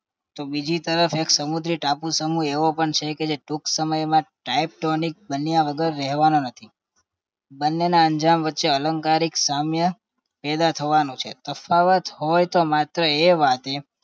તો બીજી તરફ એક સમુદ્રી ટાપુ સમૂહ એવો પણ છે કે જે ટૂંક સમયમાં ટાઈટોનિક બન્યા વગર રહેવાનો નથી બંનેના અંજામ વચ્ચે અલંકારિક સામ્ય પેદા થવાનું છે તફાવત હોય તો માત્ર એ વાતે